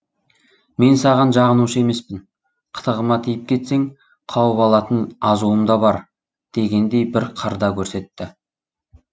мен саған жағынушы емеспін қытығыма тиіп кетсең қауып алатын азуым да бар дегендей бір қыр да көрсетті